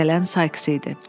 Gələn Sayks idi”.